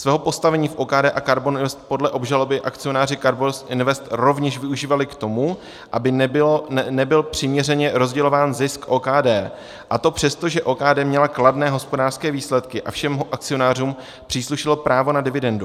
Svého postavení v OKD a KARBON INVEST podle obžaloby akcionáři KARBON INVEST rovněž využívali k tomu, aby nebyl přiměřeně rozdělován zisk OKD, a to přesto, že OKD měla kladné hospodářské výsledky a všem akcionářům příslušelo právo na dividendu.